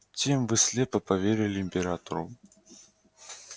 тем вы слепо поверили императору